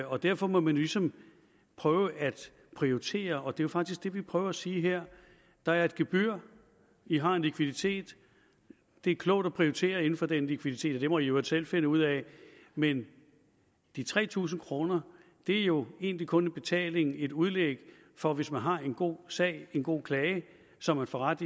og derfor må man jo ligesom prøve at prioritere og det er faktisk det vi prøver at sige her der er et gebyr i har en likviditet det er klogt at prioritere inden for den likviditet men det må i i øvrigt selv finde ud af men de tre tusind kroner er jo egentlig kun en betaling et udlæg for hvis man har en god sag en god klage som man får ret